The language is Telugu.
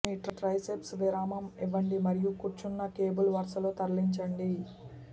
మీ ట్రైసెప్స్ విరామం ఇవ్వండి మరియు కూర్చున్న కేబుల్ వరుసలో తరలించండి